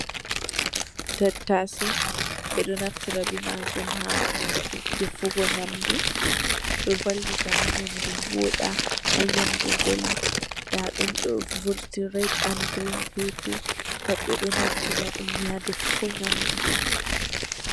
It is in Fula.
Tattase ɓe ɗo naftira be majum ha defugo nyamdu, ɗo valita ha nyamdu voɗa, ha nyamdu vela, nda ɗum ɗo, ɗo vurti red an grin pepe, pat ɓe ɗo naftira ɗum ni ha defugo nyamdu.